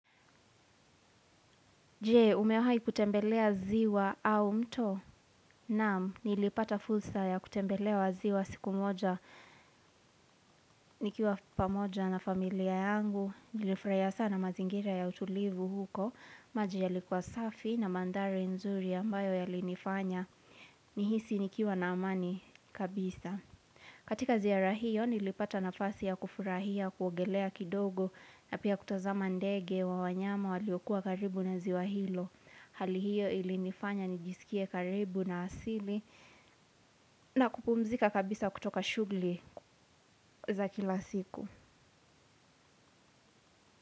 Je, umewahi kutembelea ziwa au mto, naam, nilipata fursa ya kutembelea maziwa siku moja, nikiwa pamoja na familia yangu, nilifurahia sana mazingira ya utulivu huko, maji yalikuwa safi na mandhari nzuri ambayo yalinifanya, nihisi nikiwa na amani kabisa. Katika ziara hiyo nilipata nafasi ya kufurahia kuogelea kidogo na pia kutazama ndege wa wanyama waliokuwa karibu na ziwa hilo hali hiyo ilinifanya nijisikie karibu na asili na kupumzika kabisa kutoka shugli za kila siku.